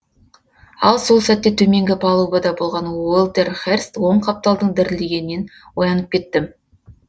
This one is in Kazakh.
ал сол сәтте төменгі палубада болған уолтер херст оң қапталдың дірілдегенінен оянып кеттім